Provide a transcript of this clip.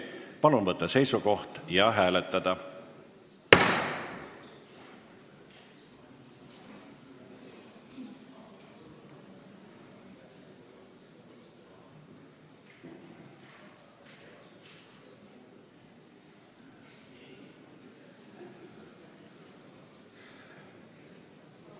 Palun võtta seisukoht ja hääletada!